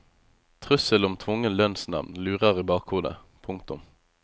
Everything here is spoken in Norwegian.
Trusselen om tvungen lønnsnevnd lurer i bakhodet. punktum